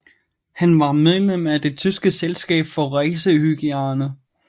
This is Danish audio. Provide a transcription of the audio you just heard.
Han var medlem af Det tyske selskab for racehygiejne